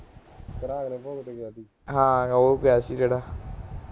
ਹਾਂ ਉਹ ਗਿਆ ਸੀ ਜਿਹੜਾ